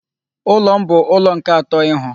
Ụlọ m bu ụlọ nke atọ ịhụ.